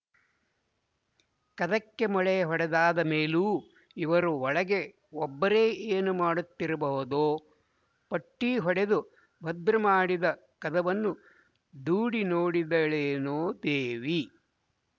ಕದಕ್ಕೆ ಮೊಳೆ ಹೊಡೆದಾದ ಮೇಲೂ ಇವರು ಒಳಗೆ ಒಬ್ಬರೇ ಏನು ಮಾಡುತ್ತಿರಬಹುದೋ ಪಟ್ಟಿ ಹೊಡೆದು ಭದ್ರಮಾಡಿದ ಕದವನ್ನು ದೂಡಿ ನೋಡಿದಳೇನೋ ದೇವಿ